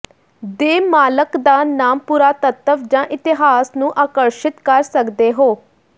ਦੇ ਮਾਲਕ ਦਾ ਨਾਮ ਪੁਰਾਤੱਤਵ ਜ ਇਤਿਹਾਸ ਨੂੰ ਆਕਰਸ਼ਿਤ ਕਰ ਸਕਦੇ ਹੋ